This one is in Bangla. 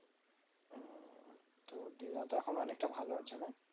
হম তো দিদা তো এখন অনেকটা ভালো আছে না